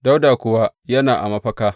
Dawuda kuwa yana a mafaka.